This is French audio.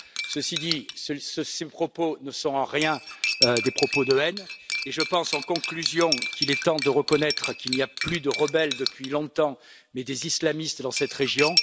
Cela dit, ces propos ne sont en rien des propos de haine et je pense en conclusion qu'il est temps de reconnaître qu'il n'y a plus de rebelles depuis longtemps, mais des islamistes dans cette région.